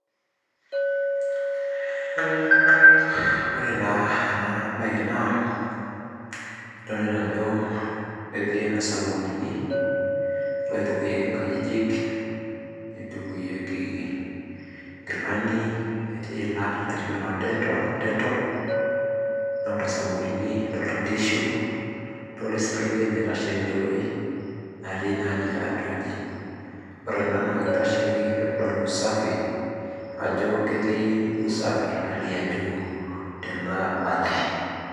Ore naa enabae naa, idolita ajo etii ene sabunini oitukuyieki inkajijik, nitukuyieki inkilani, etii ilat, etii lo detol ,adolta sabunini, adolta tissue ,adolta eselenkei naitashe tinewei, natii na ninye atua aji. Ore ena na kitasheki ousafi, ajo ketii usafi hali ya juu tena aji.